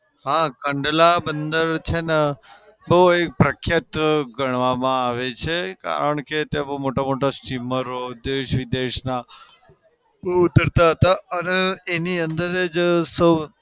હા કંડલા બંદર છે ને બઉ પ્રખ્યાત ગણવામાં આવે છે કારણ કે તમા બઉ મોટા-મોટા સ્ટીમરો દેશ વિદેશના અને એની અંદર જ સૌ